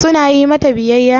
Su na yi mata biyayya?